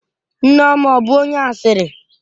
Nneoma ọ bụ onye asịrị?